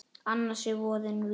Annars er voðinn vís.